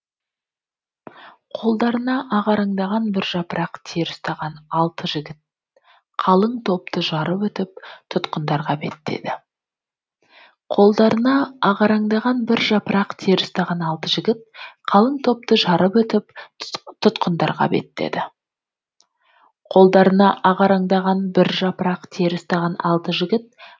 қолдарына ағараңдаған бір жапырақ тері ұстаған алты жігіт қалың топты жарып өтіп тұтқындарға беттеді